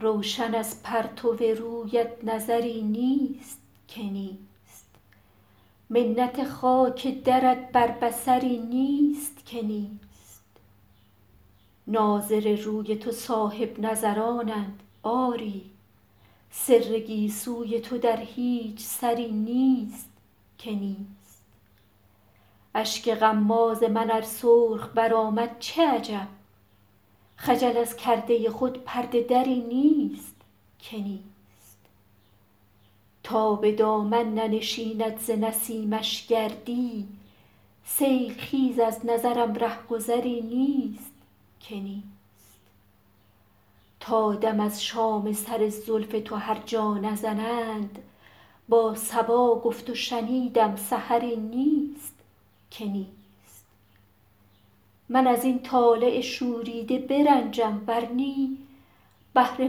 روشن از پرتو رویت نظری نیست که نیست منت خاک درت بر بصری نیست که نیست ناظر روی تو صاحب نظرانند آری سر گیسوی تو در هیچ سری نیست که نیست اشک غماز من ار سرخ برآمد چه عجب خجل از کرده خود پرده دری نیست که نیست تا به دامن ننشیند ز نسیمش گردی سیل خیز از نظرم ره گذری نیست که نیست تا دم از شام سر زلف تو هر جا نزنند با صبا گفت و شنیدم سحری نیست که نیست من از این طالع شوریده برنجم ور نی بهره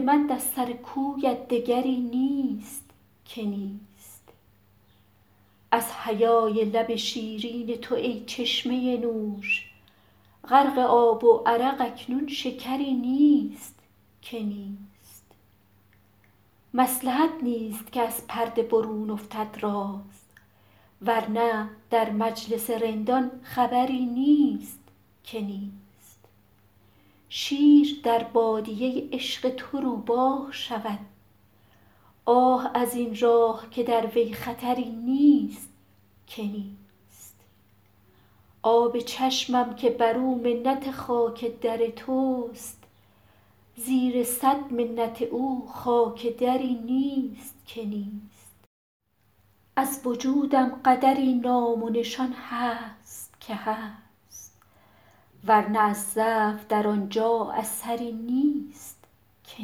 مند از سر کویت دگری نیست که نیست از حیای لب شیرین تو ای چشمه نوش غرق آب و عرق اکنون شکری نیست که نیست مصلحت نیست که از پرده برون افتد راز ور نه در مجلس رندان خبری نیست که نیست شیر در بادیه عشق تو روباه شود آه از این راه که در وی خطری نیست که نیست آب چشمم که بر او منت خاک در توست زیر صد منت او خاک دری نیست که نیست از وجودم قدری نام و نشان هست که هست ور نه از ضعف در آن جا اثری نیست که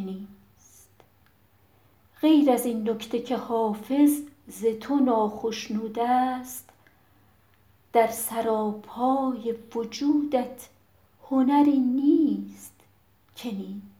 نیست غیر از این نکته که حافظ ز تو ناخشنود است در سراپای وجودت هنری نیست که نیست